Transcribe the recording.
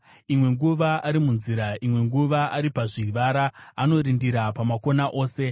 imwe nguva ari munzira, imwe nguva ari pazvivara. Anorindira pamakona ose.